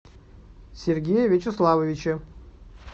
сергее вячеславовиче